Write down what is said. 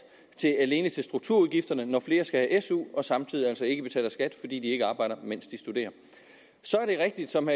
alene til strukturudgifterne når flere skal have su og samtidig altså ikke betaler skat fordi de ikke arbejder mens de studerer så er det rigtigt som